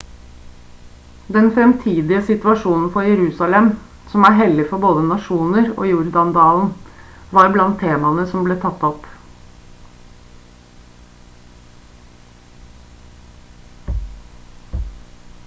den fremtidige situasjonen for jerusalem som er hellig for både nasjoner og jordan-dalen var blant temaene som ble tatt opp